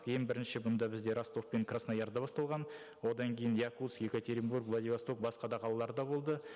ең бірінші мұнда бізде ростов пен красноярда басталған одан кейін якутск екатеринбург владивосток басқа да қалаларда болды